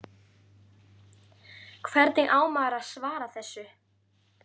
Hvernig á maður að svara þessu?